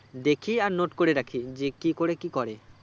দেখি আর note করে রাখি যে কি করে কি করে